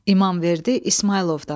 İmamverdi İsmayılovdan.